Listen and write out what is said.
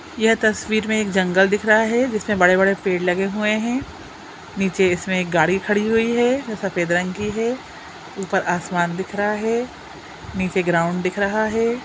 यह तस्वीर में एक जंगल दिख रहा है जिसमें बड़े बड़े पेड़ लगे हुए है नीचे इसमें एक गाडी खड़ी हुई है जो सफेद रंग की है ऊपर आसमान दिख रहा है नीचे ग्राउंड दिख रहा है।